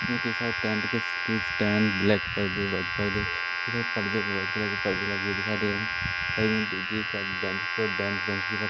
इसमें कई सारे टेंट के स्टील स्टैंड ब्लैक पर्दे वाइट पर्दे इधर पर्दे वाइट कलर के पर्दे लगे हुए दिखाई दे रहे हैं साइड में दीदी का बेंच पर बेंच बेंच के ऊपर--